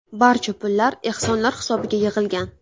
Barcha pullar ehsonlar hisobiga yig‘ilgan.